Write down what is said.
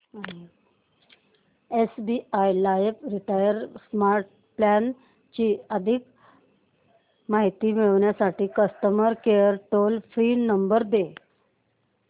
SBI life retire smart plan ची अधिक माहिती मिळविण्यासाठी customer care toll free number दे